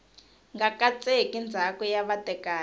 nga katseki ndzhaka ya vatekani